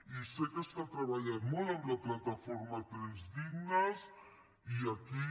i sé que s’ha treballat molt amb la plataforma trens dignes i aquí